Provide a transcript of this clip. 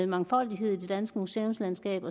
mangfoldighed i det danske museumslandskab